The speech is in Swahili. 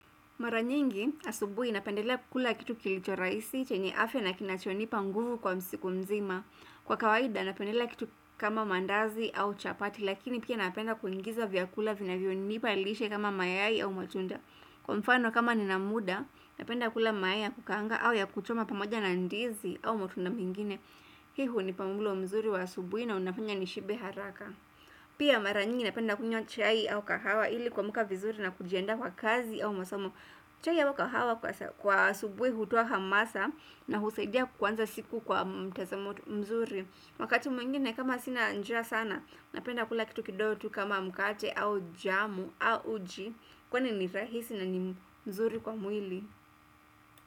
Mara nyingi asubuhi napendelea kula kitu kilicho rahisi chenye afya na kinachonipa nguvu kwa siku mzima. Kwa kawaida napendelea kitu kama mandazi au chapati lakini pia napenda kuingiza vyakula vinavyonipa lishe kama mayai au matunda. Kwa mfano kama nina muda napenda kula mayai ya kukaanga au ya kuchoma pamoja na ndizi au matunda mengine. Hii hunipa mlo mzuri wa asubuhi na unafanya nishibe haraka. Pia mara nyingi napenda kunywa chai au kahawa ili kuamuka vizuri na kujiendaa kwa kazi au masomo chai au kahawa kwa asubuhi hutoa hamasa na husaidia kuanza siku kwa mtazamo mzuri Wakati mwingine kama sina njaa sana napenda kula kitu kidogo tu kama mkate au jamu au uji Kwani ni rahisi na ni mzuri kwa mwili.